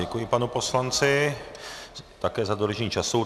Děkuji panu poslanci také za dodržení času.